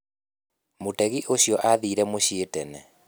Mũtegi ũcio aathire mũciĩ tene.